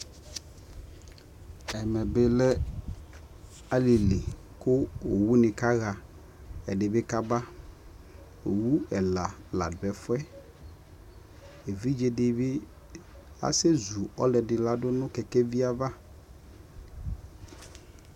ɛmɛ bi lɛ alili kʋ ɔwʋ nikaha ɛdibi kaba, ɔwʋ ɛla ladʋ ɛƒʋɛ, ɛvidzɛ dibi asɛzʋ ɔlʋdʋ ladʋ nʋ kɛkɛvi aɣa